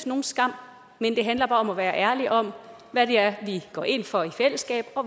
nogen skam men det handler bare om at være ærlig om hvad det er vi går ind for i fællesskab og